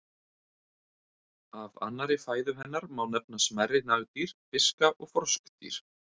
Af annarri fæðu hennar má nefna smærri nagdýr, fiska og froskdýr.